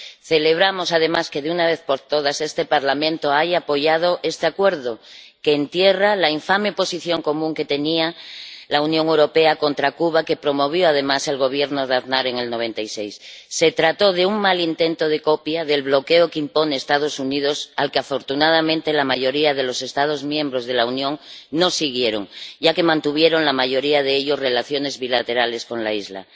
Celebramos además que, de una vez por todas, este Parlamento haya apoyado este Acuerdo, que entierra la infame Posición Común que tenía la Unión Europea contra Cuba, que promovió, además, el Gobierno de Aznar en 1996. Se trató de un mal intento de copia del bloqueo que imponen los Estados Unidos, que afortunadamente la mayoría de los Estados miembros de la Unión no siguieron, ya que mantuvieron, la mayoría de ellos, relaciones bilaterales con la isla.